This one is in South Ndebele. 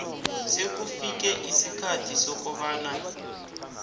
sekufike isikhathi sokobana